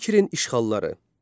İkinci Kirin işğalları.